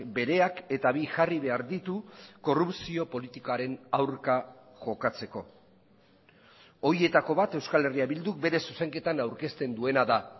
bereak eta bi jarri behar ditu korrupzio politikaren aurka jokatzeko horietako bat euskal herria bilduk bere zuzenketan aurkezten duena da